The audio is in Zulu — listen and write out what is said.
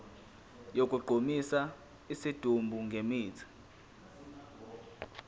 sokugqumisa isidumbu ngemithi